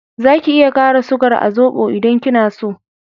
Za ki iya kara sugar a zobo idan kina so